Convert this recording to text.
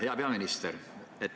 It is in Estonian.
Hea peaminister!